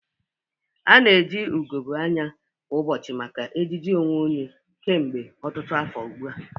Ana eji ugogbe anya kwa ụbọchị maka ejiji onwe onye kemgbe ọtụtụ afọ ugbu a.